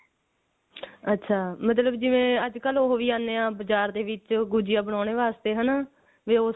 ਅੱਛਾ ਜਿਵੇਂ ਮਤਲ ਅੱਜਕਲ ਉਹ ਵੀ ਆਉਂਦੇ ਨੇ ਬਾਜ਼ਾਰ ਦੇ ਵਿੱਚ ਗੁਝੀਆ ਬਣਾਉਣ ਵਾਸਤੇ ਹਨਾ ਵੇ ਉਸੇ